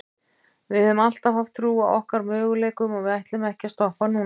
Við höfum alltaf haft trú á okkar möguleikum og við ætlum ekki að stoppa núna.